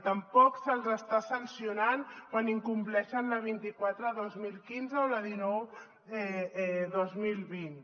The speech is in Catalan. tampoc se’ls està sancionant quan incompleixen la vint quatre dos mil quinze o la dinou dos mil vint